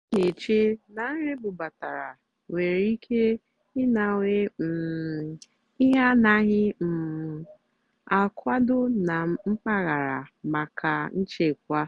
ó nà-èché nà nrì ébúbátàrá nwèrè íké ịnàwé um íhé ánàghị́ um àkwàdó nà mpàgàrà màkà nchèkwà.